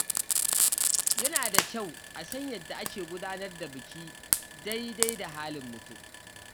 Yana da kyau a san yadda ake gudanar da biki daidai da halin mutum.